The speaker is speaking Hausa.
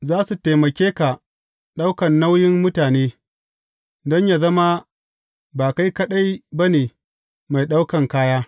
Za su taimake ka ɗaukan nauyin mutane, don yă zama ba kai kaɗai ba ne mai ɗaukan kaya.